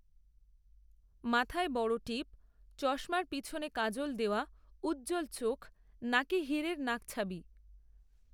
মাথায় বড় টিপ, চশমার পিছনে কাজল দেওয়া, উজ্জ্বল চোখ, নাকে, হিরের নাকছাবি